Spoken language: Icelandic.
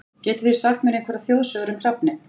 Getið þið sagt mér einhverjar þjóðsögur um hrafninn?